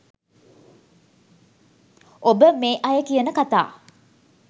ඔබ මේ අය කියන කථා